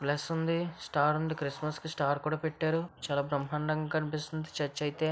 Plus ఉంది star ఉంది Christmas కి స్టార్ కూడా పెట్టారు చాలా బ్రహ్మాండంగా కనిపిస్తుంది చర్చి అయితే.